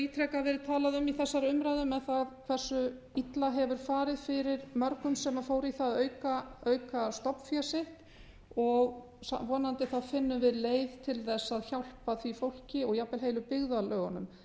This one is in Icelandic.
ítrekað verið talað um í þessari umræðu um hversu illa hefur farið fyrir mörgum sem fóru í það að auka stofnfé sitt vonandi finnum við leið til þess að hjálpa því fólki og jafnvel heilu byggðarlögunum